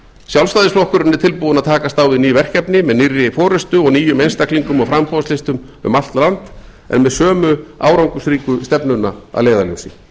sjálfstæðisflokkurinn er tilbúinn að takast á við ný verkefni með nýrri forustu og nýjum einstaklingum og framboðslistum um allt land en með sömu árangursríku stefnuna að leiðarljósi